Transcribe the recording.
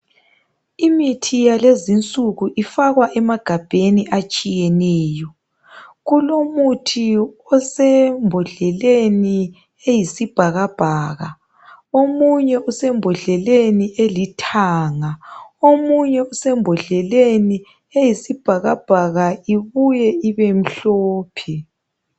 Imithi yakulezi insiku ifakea emagabheni atshiyeneyo. Kulomuthi osembodleleni eyisibhakabhaka , omunye usembodleleni elithanga , omunye osembodleleni eyisibhakabhaka ibuye ibe mhlophe